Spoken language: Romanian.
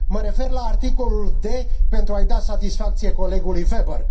Mă refer la articolul d, pentru a i da satisfacție colegului Weber.